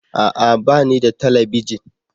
A'a! Ba ni da talabijin.